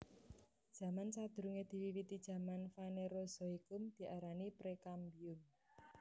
Zaman sadurungé diwiwiti zaman Fanerozoikum diarani Prekambium